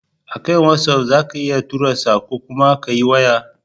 A kan watsaf za ka iya tura sako kuma Ka yi waya